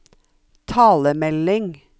talemelding